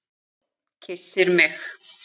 Kyssir mig.